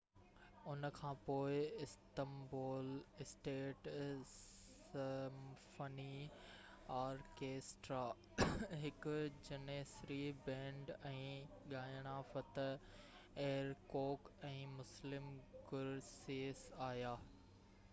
ان کانپوءِ Istanbul state symphony orchestra هڪ janissary band ۽ ڳائڻا فتح ايرڪوڪ ۽ مسلم گُرسيس آيا